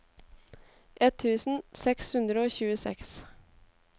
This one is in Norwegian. ett tusen seks hundre og tjueseks